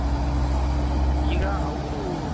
ಈಗ ಅವರು